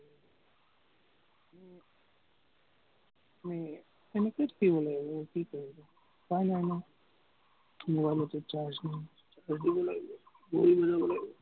উম এনেকেই থাকিব লাগিব, কি কৰিবি, উপাই নাই নহয়। mobile তো charge নাই। লাগিব, ঘড়ী মিলাব লাগিব।